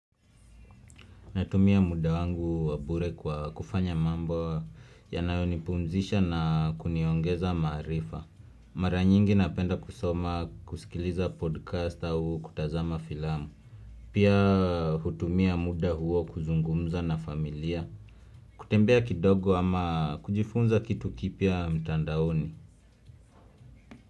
Natumia muda wangu wa bure kwa kufanya mambo yanayo nipumzisha na kuniongeza maarifa. Mara nyingi napenda kusoma kusikiliza podcast au kutazama filamu. Pia hutumia muda huo kuzungumza na familia. Kutembea kidogo ama kujifunza kitu kipya mtandaoni.